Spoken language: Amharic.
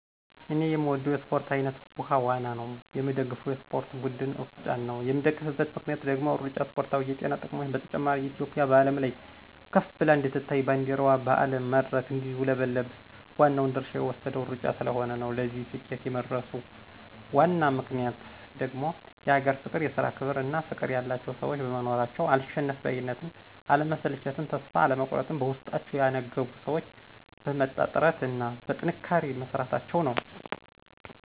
እኔ የምወደው የእስፖርት አይነት ዉሀ ዋና ነው። የምደግፈው የእስፖርት ብድን እሩጫን ነው የምደግፍበት ምክንያት ደግሞ እሩጫ እስፖርታዊ የጤና ጥቅሞች በተጨማሪ እትዮጵያ በአለም ላይ ከፍ ብላ እንድትታይ ባንዲረዋ በአለም መድረክ እንዲውለበለብ ዋናውን ድርሻ የወሰደው እሩጫ ስለሆነ ነው። ለዚህ ስኬት የመድረሱ ዋነኛ ምክንያት ደግሞ የሀገር ፍቅር፣ የስራ ክብር እና ፍቅር ያላቸው ሰዎች መኖራቸው፣ አልሸነፍ ባይነትን፣ አለመሰልቸትን ተስፋ አለመቁረጥን በውስጣቸው ያነገቡ ሰዎች በመጣ ጥረት እና በጥንካሬ መስራታቸው ነው።